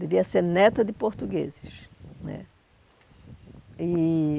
Devia ser neta de portugueses né. E